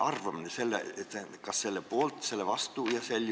Kas teie olete selle poolt või vastu?